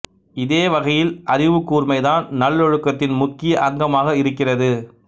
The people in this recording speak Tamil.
இதே வகையில் அறிவுக்கூர்மை தான் நல்லொழுக்கத்தின் முக்கிய அங்கமாக இருக்கிறது